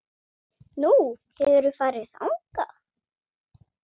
Nú, hefurðu farið þangað?